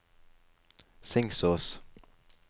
Singsås